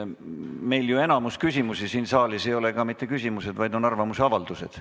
Meil ju enamik küsimusi siin saalis ei ole ka mitte küsimused, vaid arvamusavaldused.